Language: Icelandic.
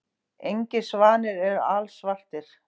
Engir svanir eru alsvartir.